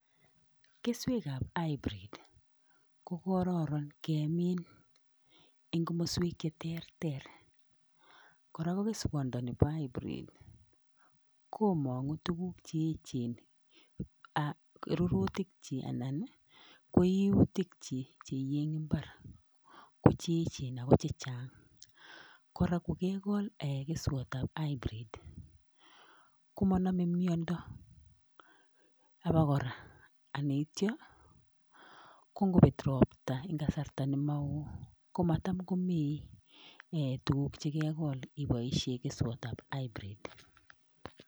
Keswekap hybid kokororon kemin eng komoswek cheterter. Korok ko keswandani bo hybrid komong'u tukuk che echen. Rurutichi anan ko iutikchi cheiyei eng mbar ko cheechen ako chechang. Kora kokekol keswatab hybrid komanamei miondo abokora ,aneitio kongoit ropta eng kasarta nemao, komatam komameei tukuk chekekol iboishe keswatab hybrid.